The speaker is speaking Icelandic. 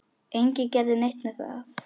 Enginn gerði neitt með það.